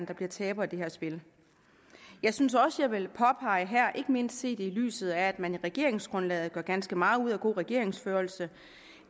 der bliver tabere i det her spil jeg synes også at jeg vil påpege her er ikke mindst set i lyset af at man i regeringsgrundlaget gør ganske meget ud af god regeringsførelse